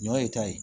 Ɲɔ ye ta ye